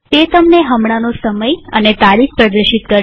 તે તમને હમણાંનો સમય અને તારીખ પ્રદર્શિત કરશે